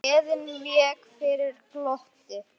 Gleðin vék fyrir glotti.